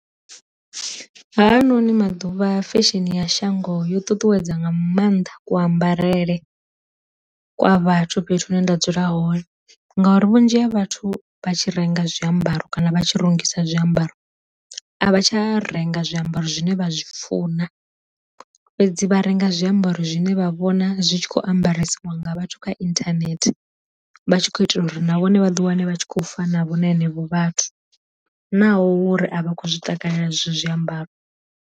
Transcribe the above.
Hanoni maḓuvha fesheni ya shango yo ṱuṱuwedza nga maanḓa ku ambarele kwa vhathu fhethu hune nda dzula hone, ngauri vhunzhi ha vhathu vha tshi renga zwiambaro kana vha tshi rungisa zwiambaro, a vha tsha renga zwiambaro zwine vha zwi funa fhedzi vha renga zwiambaro zwine vha vhona zwi tshi kho ambaresiwa nga vhathu kha inthanethe vha tshi kho itela uri na vhone vha ḓi wane vha tshi khou fana vho na henevho vhathu naho uri a vha khou zwi takalela zwezwo zwiambaro.